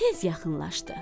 Tez yaxınlaşdı.